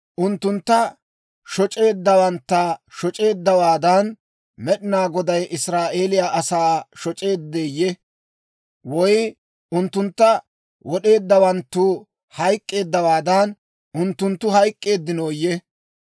Unttuntta shoc'eeddawantta shoc'eeddawaadan, Med'inaa Goday Israa'eeliyaa asaa shoc'eeddeyye? Woy unttuntta wod'eeddawanttu hayk'k'eeddawaadan, unttunttu hayk'k'eeddinooyye?